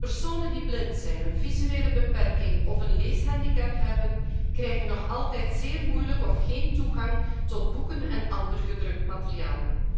Personen die blind zijn, een visuele beperking of een leeshandicap hebben, krijgen nog altijd zeer moeilijk of geen toegang tot boeken en ander gedrukt materiaal.